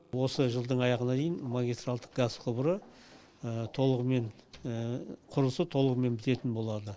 осы жылдың аяғына дейін магистральдік газ құбыры толығымен құрылысы толығымен бітетін болады